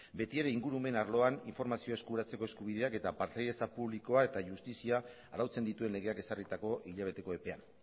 beti ere ingurumen arloan informazioa eskuratzeko eskubidea eta partaidetza publikoa eta justizia arautzen dituen legeak ezarritako hilabeteko epean